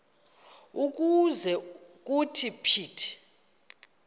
ukuze kuthi phithi